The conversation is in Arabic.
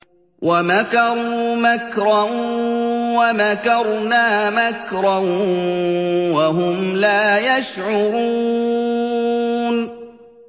وَمَكَرُوا مَكْرًا وَمَكَرْنَا مَكْرًا وَهُمْ لَا يَشْعُرُونَ